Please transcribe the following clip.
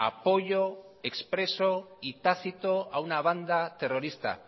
apoyo expreso y tácito a una banda terrorista